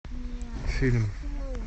фильм